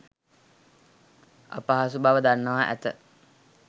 අපහසු බව දන්වා ඇත.